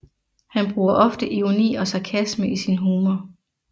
Han bruger ofte ironi og sarkasme i sin humor